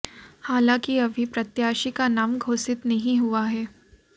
हालांकि अभी प्रत्याशी का नाम घोषित नहीं हुआ है